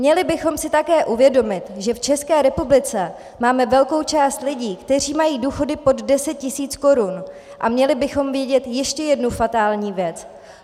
Měli bychom si také uvědomit, že v České republice máme velkou část lidí, kteří mají důchody pod 10 tisíc korun, a měli bychom vědět ještě jednu fatální věc.